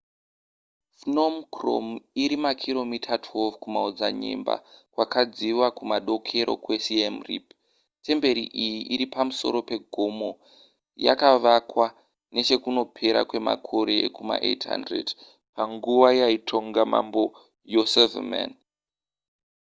phnom krom iri makiromita 12 kumaodzanyema kwakadziva kumadokero kwesiem reap temperi iyi iri pamusoro pegomo yakavakwa nechekunopera kwemakore ekuma800 panguva yaitonga mambo yasovarman